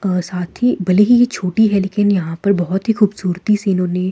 और साथ ही भले ही ये छोटी है लेकिन यहां पर बहोत ही खूबशूरती से इन्होंने --